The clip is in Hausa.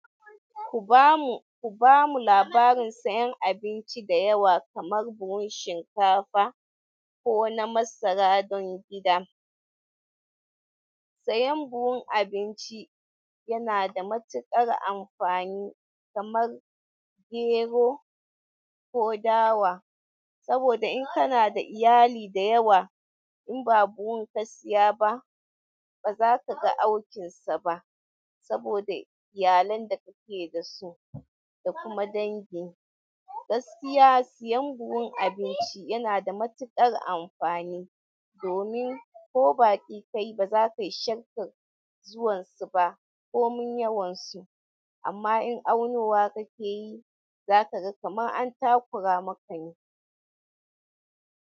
Ku ba mu, ku ba mu labarin sayan abinci da yawa kamar buhun shinkafa ko na masara dana gida. Sayan buhun abinci yana sa matuƙar amfani kamar gero kondaya saboda in kana da iyali dayawa inba buhun ka siya ba bazakaga aukin saba saboda iyalan da kake da su da kuma dangi. Gaskiya siyan buhun abinci yana da matuƙar amfani domin ko baƙi ka yi ba za ka yi shakka zuwan su ba ko mun yawon su amma in aunowa ka ke yi, za ka ga kamar an takura muka ne.